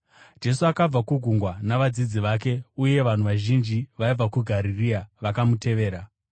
Jesu akabva kugungwa navadzidzi vake, uye vanhu vazhinji vaibva kuGarirea vakamutevera.